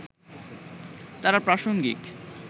তাঁরা প্রাসঙ্গিক